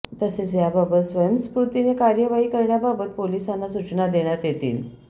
तसेच याबाबत स्वयंस्फूर्तीने कार्यवाही करण्याबाबत पोलीसांना सूचना देण्यात येतील